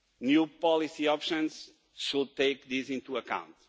New policy options should take this into account.